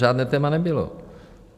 Žádné téma nebylo.